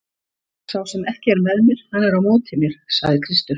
Sá sem ekki er með mér hann er á móti mér, sagði Kristur.